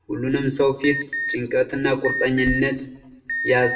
የሁሉንም ሰው ፊት ጭንቀት እና ቁርጠኝነት ያሳያል።